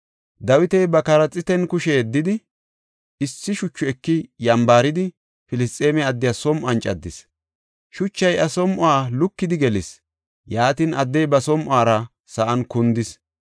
Dawiti ba qarxiitan kushe yeddidi, issi shuchu eki yambaridi, Filisxeeme addiya som7uwan caddis. Shuchay iya som7uwa lukidi gelis; yaatin, addey ba som7uwara sa7an kundis.